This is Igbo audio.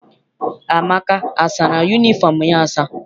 Amaka asara yunifọm ya asa?